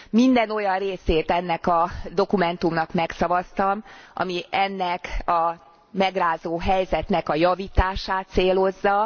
Minden olyan részét ennek a dokumentumnak megszavaztam, ami ennek a megrázó helyzetnek a javítását célozza.